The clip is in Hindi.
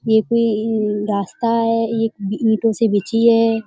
ये कोई मम रास्ता है ये ई ईटों से बिछी है।